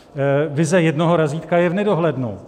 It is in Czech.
Vize jednoho razítka je v nedohlednu.